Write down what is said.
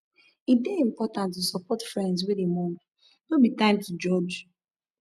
e dey important to support friends wey dey mourn no be time to judge